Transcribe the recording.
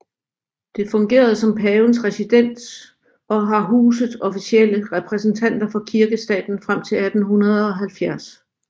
Det fungerede som Pavens residens og har huset officielle repræsentanter for Kirkestaten frem til 1870